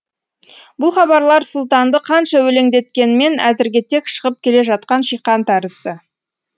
бұл хабарлар сұлтанды қанша өлеңдеткенмен әзірге тек шығып келе жатқан шиқан тәрізді